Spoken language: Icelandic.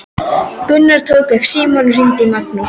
Gunnar tók upp símann og hringdi í Magnús.